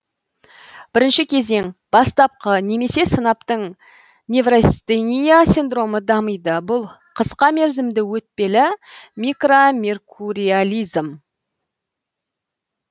бірінші кезең бастапқы немесе сынаптың неврастения синдромы дамиды бұл қысқа мерзімді өтпелі микромеркуриализм